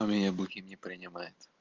а меня бухим не принимает